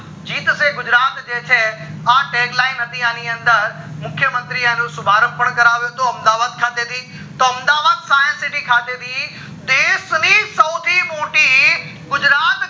જીતશે ગુજરાત જે છે tag line હતી આની અંદર મુખ્ય મંત્રી અનુ શુભારંભ કર્યું હતું અમદાવાદ ખાતે થી તો અમદાવાદ science city ખાતે થી દેશ ની સૌથી મોટી ગુજરાત